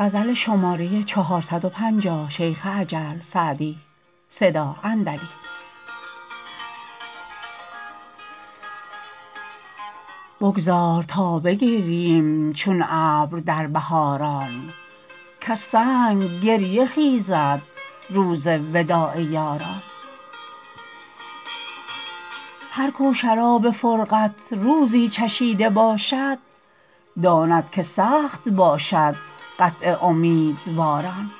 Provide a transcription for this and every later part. بگذار تا بگرییم چون ابر در بهاران کز سنگ گریه خیزد روز وداع یاران هر کو شراب فرقت روزی چشیده باشد داند که سخت باشد قطع امیدواران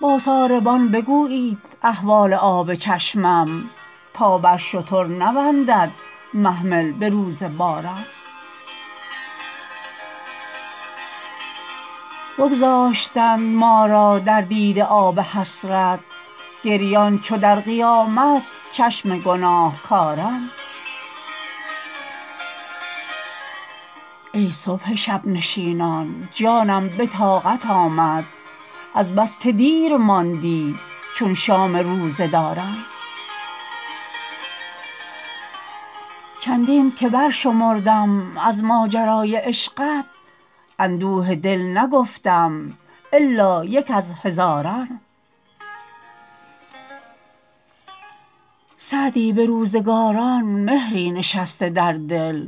با ساربان بگویید احوال آب چشمم تا بر شتر نبندد محمل به روز باران بگذاشتند ما را در دیده آب حسرت گریان چو در قیامت چشم گناهکاران ای صبح شب نشینان جانم به طاقت آمد از بس که دیر ماندی چون شام روزه داران چندین که برشمردم از ماجرای عشقت اندوه دل نگفتم الا یک از هزاران سعدی به روزگاران مهری نشسته در دل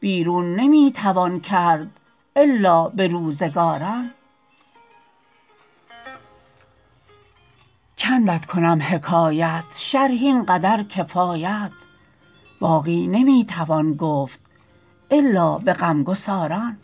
بیرون نمی توان کرد الا به روزگاران چندت کنم حکایت شرح این قدر کفایت باقی نمی توان گفت الا به غمگساران